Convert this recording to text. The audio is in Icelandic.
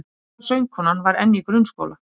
Besta söngkonan var enn í grunnskóla